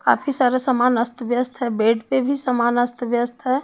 काफी सारा समान अस्त व्यस्त है बेड पे भी समान अस्त व्यस्त है।